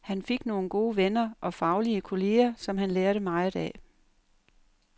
Han fik nogle gode venner og faglige kolleger, som han lærte meget af.